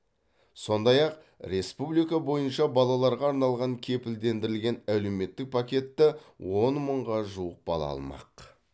сондай ақ республика бойынша балаларға арналған кепілдендірілген әлеуметтік пакетті он мыңға жуық бала алмақ